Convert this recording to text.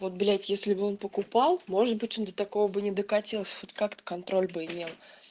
вот блять если бы он покупал может быть он до такого бы не докатилось хоть как-то контроль бы имел